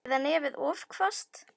Eða nefið of hvasst.